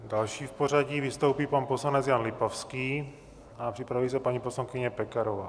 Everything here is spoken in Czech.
Další v pořadí vystoupí pan poslanec Jan Lipavský a připraví se paní poslankyně Pekarová.